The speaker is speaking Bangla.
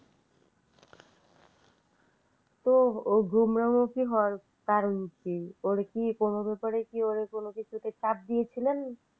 তো ওর গোমরা মুখে হবার কারণ কি ওরে কি কোন ব্যাপারে কি ওরে কোন কিছু চাপ দিয়েছিলেন?